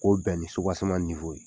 K'o bɛn ni subaseman niwo ye